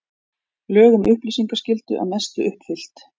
Lög um upplýsingaskyldu að mestu uppfyllt